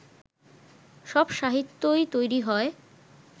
সব সাহিত্যই তৈরি হয়